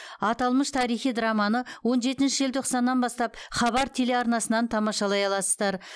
аталмыш тарихи драманы он жетінші желтоқсаннан бастап хабар телеарнасынан тамашалай аласыздар